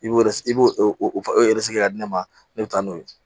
I b'o yɛrɛ i b'o o yɛrɛ sigi ka di ne ma ne bɛ taa n'o ye